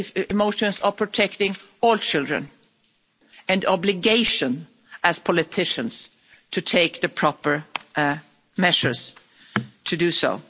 emotions about protecting all children and the obligation, as politicians, to take the proper measures to do so.